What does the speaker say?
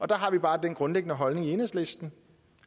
der har vi bare den grundlæggende holdning i enhedslisten